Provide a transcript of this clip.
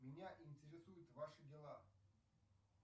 меня интересуют ваши дела